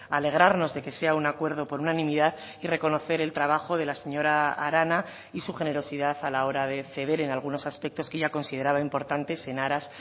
alegrarnos de que sea un acuerdo por unanimidad y reconocer el trabajo de la señora arana y su generosidad a la hora de ceder en algunos aspectos que ella consideraba importantes en aras